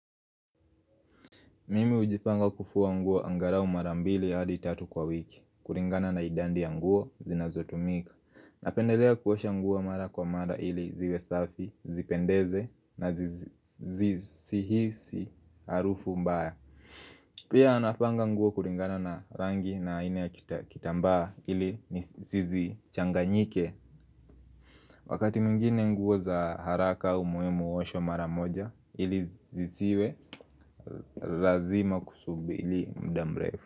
Mimi hujipanga kufua nguo angalau mara mbili hadi tatu kwa wiki kulingana na idadi ya nguo zinazotumika Napendelea kuosha nguo mara kwa mara ili ziwe safi, zipendeze na zisihisi harufu mbaya Pia nafuanga nguo kulingana na rangi na aina ya kitambaa ili sizichanganyike Wakati mwingine nguo za haraka umuhimu huoshwa maramoja ili zisiwe lazima kusubiri muda mrefu.